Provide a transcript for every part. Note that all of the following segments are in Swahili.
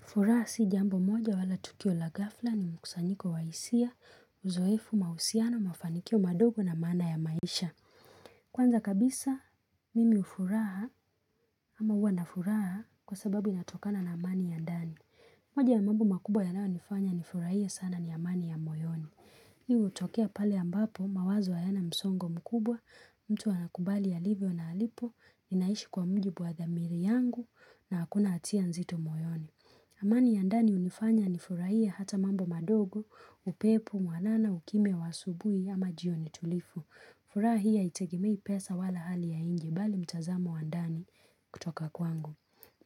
Furaha si jambo moja wala tukio la ghafla, ni mkusanyiko wa hisia, uzoefu, mahusiano, mafanikio madogo na maana ya maisha. Kwanza kabisa, mimi ufuraha ama hua nafuraha kwa sababu inatokana na amani ya ndani. Moja ya mambo makubwa yanayonifanya nifurahie sana ni amani ya moyoni. Hii hutokea pale ambapo mawazo hayana msongo mkubwa, mtu anakubali alivyo na alipo, ninaishi kwa mujibu wa dhamiri yangu na hakuna hatia nzito moyoni. Amani ya ndani hunifanya nifurahie hata mambo madogo, upepo mwanana, ukimya wa asubuhi ama jioni tulifu. Furaha hii haitegimei pesa wala hali ya nje bali mtazamo wa ndani kutoka kwangu.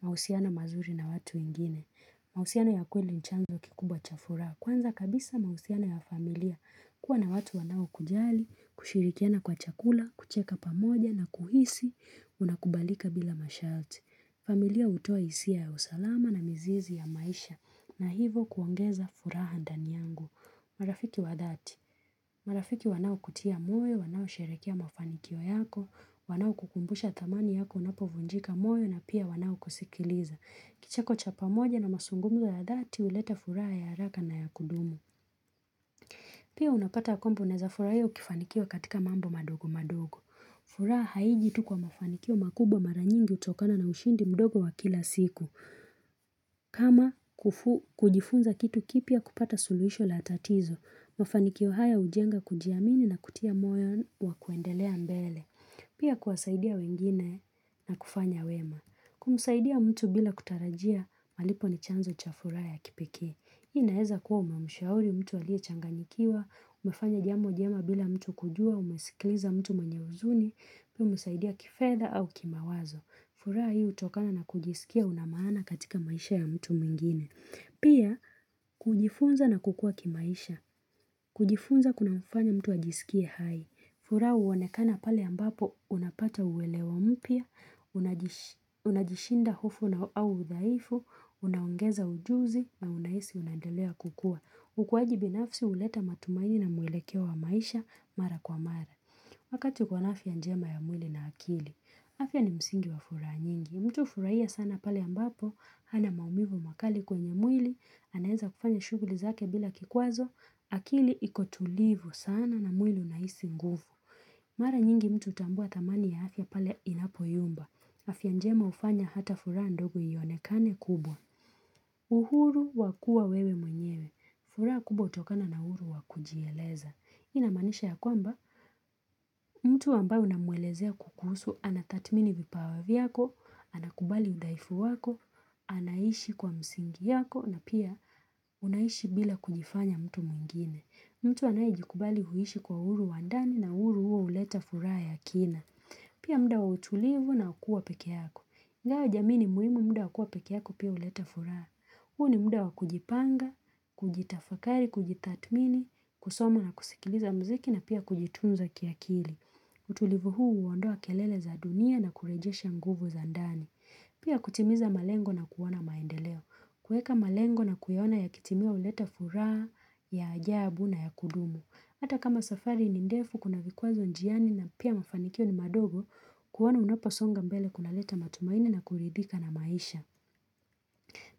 Mahusiana mazuri na watu wengine. Mahusiana ya kweli ni chanzo kikubwa cha furaha. Kwanza kabisa mahusiana ya familia. Kuwa na watu wanaokujali, kushirikiana kwa chakula, kucheka pamoja na kuhisi unakubalika bila masharti. Familia hutoa hisia ya usalama na mizizi ya maisha na hivo kuongeza furaha ndani yangu. Marafiki wa dhati. Marafiki wanaokutia moyo, wanaosherekea mafanikio yako, wanaokukumbusha thamani yako unapovunjika moyo na pia wanaokusikiliza. Kicheko cha pamoja na mazungumzo ya dhati huleta furaha ya haraka na ya kudumu. Pia unapata ya kwamba unaeza furahia ukifanikiwa katika mambo madogo madogo. Fura haiji tu kwa mafanikio makubwa mara nyingi hutokana na ushindi mdogo wa kila siku. Kama kujifunza kitu kipya kupata suluhisho la tatizo, mafanikio haya hujenga kujiamini na kutia moyo wa kuendelea mbele. Pia kuwasaidia wengine na kufanya wema. Kumsaidia mtu bila kutarajia malipo ni chanzo cha furaha ya kipekee. Hii inaeza kuwa umemshauri mtu aliyechanganikiwa, umefanya jambo jema bila mtu kujua, umesikiliza mtu mwenye huzuni, pia umesaidia kifedha au kimawazo. Furaha hii hutokana na kujisikia una maana katika maisha ya mtu mwingine Pia kujifunza na kukua kimaisha kujifunza kunamfanya mtu ajisikie hai. Furaha huonekana pale ambapo unapata uelewa mpiya unajishinda hofu na, au udhaifu, unaongeza ujuzi na unahisi unaendelea kukua. Ukuwaji binafsi huleta matumaini na mwelekeo wa maisha mara kwa mara. Wakati uko na afya njema ya mwili na akili. Afya ni msingi wa furaha nyingi. Mtu hufurahia sana pale ambapo hana maumivu makali kwenye mwili, anaeza kufanya shughuli zake bila kikwazo akili iko tulivu sana na mwili unahisi nguvu. Mara nyingi mtu hutambua thamani ya afya pale inapoyumba. Afya njema hufanya hata furaha ndogo ionekane kubwa. Uhuru wa kuwa wewe mwenyewe. Furaha kubwa hutokana na uhuru wa kujieleza. Hii inamaanisha ya kwamba, mtu ambaye unamwelezea kukusu anatathmini vipawa vyako, anakubali udhaifu wako, anaishi kwa msingi yako na pia unaishi bila kujifanya mtu mwingine. Mtu anayejikubali huishi kwa uhuru wa ndani na uhuru huo huleta furaha ya kina. Pia muda wa utulivu na ukuwa peke yako. Nayo jamii ni muhimu muda wa kuwa peke yako pia huleta furaha. Huu ni muda wa kujipanga, kujitafakari, kujitathmini, kusoma na kusikiliza muziki na pia kujitunza kiakili. Utulivu huu huondoa kelele za dunia na kurejesha nguvu za ndani. Pia kutimiza malengo na kuona maendeleo. Kuweka malengo na kuyaona yakitimia huleta furaha ya ajabu na ya kudumu. Hata kama safari ni ndefu kuna vikwazo njiani na pia mafanikio ni madogo kuona unaposonga mbele kunaleta matumaini na kuridhika na maisha.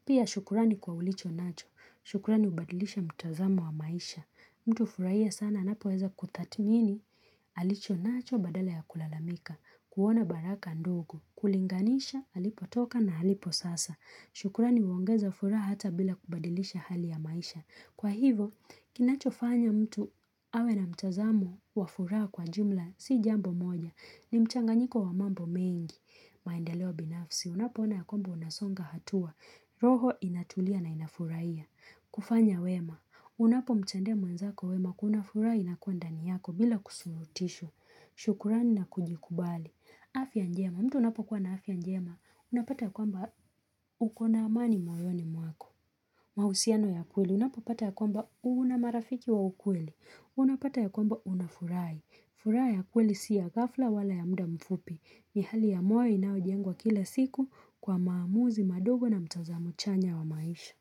Pia shukurani kwa ulicho nacho. Shukurani hubadilisha mtazamo wa maisha. Mtu hufurahia sana anapoweza kutathmini alicho nacho badala ya kulalamika. Kuona baraka ndogo. Kulinganisha, alipotoka na alipo sasa. Shukrani huongeza furaha hata bila kubadilisha hali ya maisha. Kwa hivo, kinachofanya mtu awe na mtazamo wa furaha kwa jumla si jambo moja. Ni mchanganyiko wa mambo mengi. Maendeleo binafsi. Unapoona ya kwambo unasonga hatua. Roho inatulia na inafurahia. Kufanya wema. Unapo mtendea mwenzako wema kuna furaha inakuwa ndani yako bila kusurutisho. Shukurani na kujikubali. Afya njema, mtu unapokuwa na afya njema, unapata ya kwamba uko na amani moyoni mwako. Mahusiano ya kweli, unapapata ya kwamba una marafiki wa ukweli. Unapata ya kwamba unafurahi. Furaha ya kweli si ya ghafla wala ya muda mfupi. Ni hali ya moyo inayojengwa kila siku kwa maamuzi madogo na mtazamo chanya wa maisha.